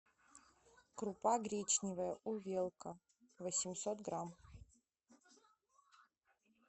крупа гречневая увелка восемьсот грамм